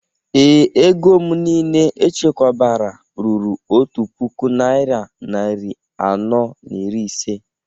Ee, ego m niile echekwabara ruru otu puku naira narị anọ na iri ise